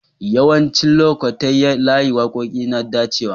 Yawancin lokatai layin wakoki na dacewa.